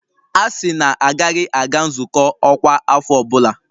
A sị na a gaghị aga nzukọ ọkwa afọ ọ bụla!